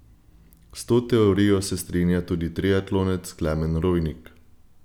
S to teorijo se strinja tudi triatlonec Klemen Rojnik.